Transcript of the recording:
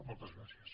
moltes gràcies